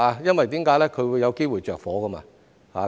因為它有機會着火。